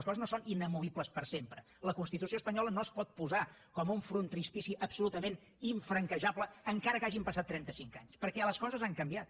les coses no són inamovibles per sempre la constitució espanyola no es pot posar com un frontispici absolutament infranquejable encara que hagin passat trenta cinc anys perquè les coses han canviat